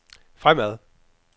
fremad